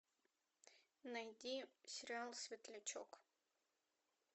найди сериал светлячок